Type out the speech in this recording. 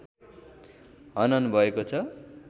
हनन भएको छ